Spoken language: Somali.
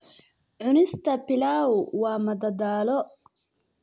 Cunista pilau waa madadaalo.